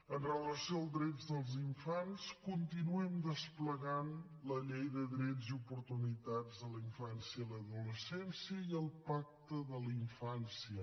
amb relació als drets dels infants continuem desplegant la llei dels drets i les oportunitats en la infància i l’adolescència i el pacte per a la infància